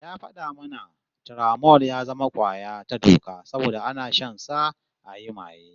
Ya fada mana Turamol ya zama kwaya ta doka saboda ana shansa ayi maye